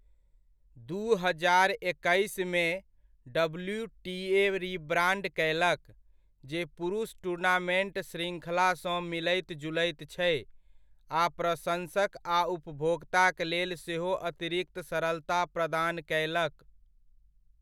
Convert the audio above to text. दू हजार एकैसमे, डब्ल्यूटीए रिब्राण्ड कयलक, जे पुरुष टूर्नामेन्ट शृङ्खलासँ मिलैत जुलैत छै, आ प्रशंसक आ उपभोक्ताक लेल सेहो अतिरिक्त सरलता प्रदान कयलक।